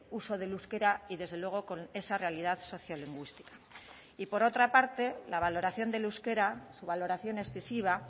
uso del euskera y desde luego con esa realidad sociolingüística y por otra parte la valoración del euskera su valoración excesiva